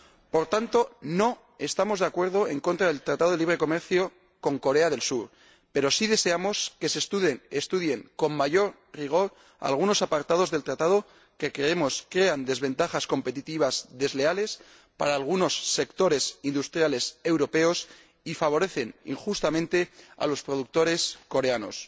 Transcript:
Por tanto, no estamos en contra del Acuerdo de libre comercio con Corea del Sur, pero sí deseamos que se estudien con mayor rigor algunos apartados del Acuerdo, que, creemos, crean desventajas competitivas desleales para algunos sectores industriales europeos y favorecen injustamente a los productores coreanos.